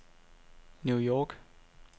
New York